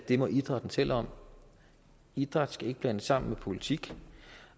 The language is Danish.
det må idrætten selv om idræt skal ikke blandes sammen med politik